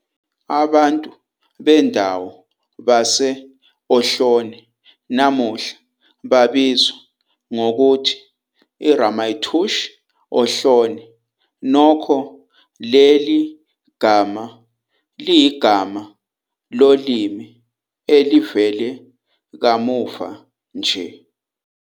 Ngokulandela isibonelo seNingizimu Afrika, uMandela wakhuthaza ezinye izizwe ukuthi nazo ziqikelele ukuxazulula izinkinga ngezingxoxo nge-diplomacy kanye nomoya wokubuyisana.